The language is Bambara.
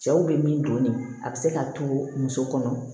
Cɛw bɛ min don nin a bɛ se ka to muso kɔnɔ